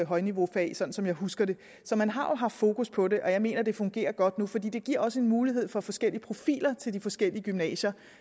højniveaufag sådan som jeg husker det så man har jo haft fokus på det og jeg mener at det fungerer godt nu for det det giver også en mulighed for forskellige profiler til de forskellige gymnasier